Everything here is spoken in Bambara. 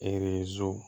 Ere